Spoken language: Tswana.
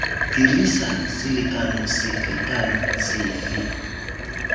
dirisa selekano sefe kana sefe